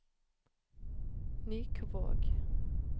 Nykvåg